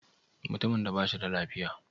Mutumin ba shi da lafiya?